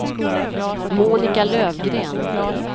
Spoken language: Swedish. Monica Löfgren